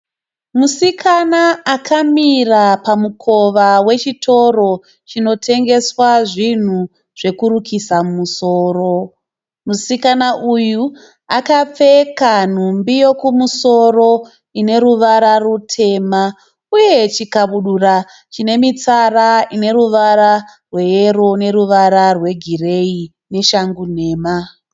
Musikana akamira pamukova wechitoro chinotengeswa zvinhu zvekurukisa musoro. Musikana uyu akapfeka nhumbi yokumusoro ine ruvara rutema uye chikabudura chine mitsara ine ruvara rweyero neruvara rwegireyi neshangu nhema.